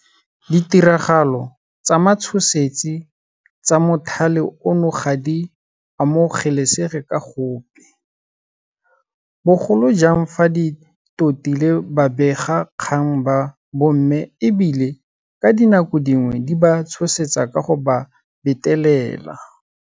Ditiragalo tsa matshosetsi tsa mothale ono ga di amo gelesege ka gope, bogolo jang fa di totile babegakgang ba bomme e bile ka dinako dingwe di ba tshosetsa ka go ba betelela.